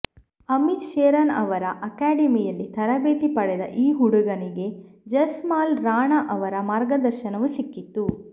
ಅಮಿತ್ ಶೆರಾನ್ ಅವರ ಅಕಾಡೆಮಿಯಲ್ಲಿ ತರಬೇತಿ ಪಡೆದ ಈ ಹುಡುಗನಿಗೆ ಜಸ್ಪಾಲ್ ರಾಣಾ ಅವರ ಮಾರ್ಗದರ್ಶನವೂ ಸಿಕ್ಕಿತ್ತು